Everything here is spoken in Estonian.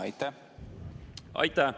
Aitäh!